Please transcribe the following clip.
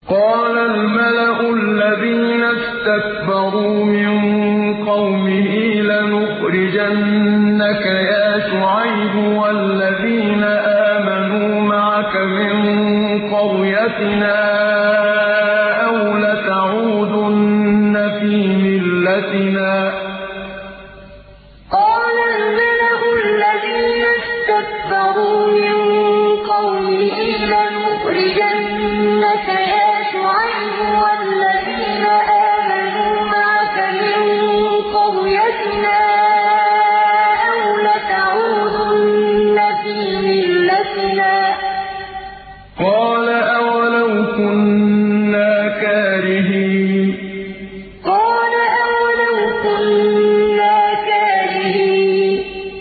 ۞ قَالَ الْمَلَأُ الَّذِينَ اسْتَكْبَرُوا مِن قَوْمِهِ لَنُخْرِجَنَّكَ يَا شُعَيْبُ وَالَّذِينَ آمَنُوا مَعَكَ مِن قَرْيَتِنَا أَوْ لَتَعُودُنَّ فِي مِلَّتِنَا ۚ قَالَ أَوَلَوْ كُنَّا كَارِهِينَ ۞ قَالَ الْمَلَأُ الَّذِينَ اسْتَكْبَرُوا مِن قَوْمِهِ لَنُخْرِجَنَّكَ يَا شُعَيْبُ وَالَّذِينَ آمَنُوا مَعَكَ مِن قَرْيَتِنَا أَوْ لَتَعُودُنَّ فِي مِلَّتِنَا ۚ قَالَ أَوَلَوْ كُنَّا كَارِهِينَ